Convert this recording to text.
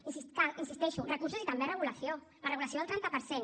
i cal hi insisteixo recursos i també regulació la regulació del trenta per cent